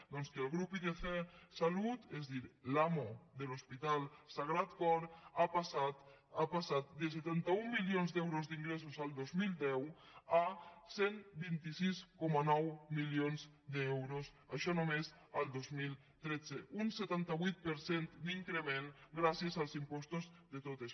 doncs que el grup idc salut és a dir l’amo de l’hospital sagrat cor ha passat de setanta un milions d’euros d’ingressos el dos mil deu a cent i vint sis coma nou milions d’euros això només el dos mil tretze un setanta vuit per cent d’increment gràcies als impostos de totes